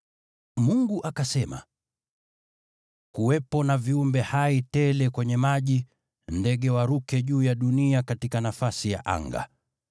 Mungu akasema, “Kuwepo na viumbe hai tele kwenye maji, nao ndege waruke juu ya dunia katika nafasi ya anga.”